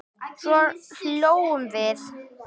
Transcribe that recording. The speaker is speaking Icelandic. Svo hlógum við.